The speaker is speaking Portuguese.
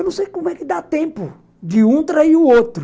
Eu não sei como é que dá tempo de um trair o outro.